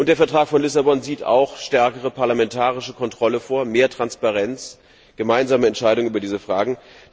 Der Vertrag von Lissabon sieht auch eine stärkere parlamentarische Kontrolle vor, mehr Transparenz, gemeinsame Entscheidungen über diese Fragen.